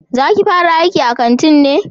Za ki fara aiki a kanti ne?